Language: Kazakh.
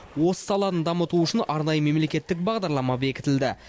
осы саланы дамыту үшін арнайы мемлекеттік бағдарлама бекітілді